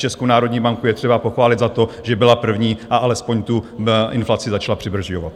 Českou národní banku je třeba pochválit za to, že byla první a alespoň tu inflaci začala přibrzďovat.